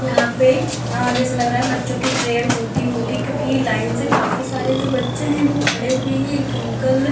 यहाँ पे जैसे लग रहा है बच्चो की प्रेयर होती होंगी क्योंकि ये लाइन से काफी सारे बच्चे जो है वो खड़े हुए है एक अंकल --